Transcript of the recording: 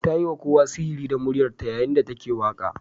Ta yi wa kowa sihiri da muryarta yayin da take waƙa.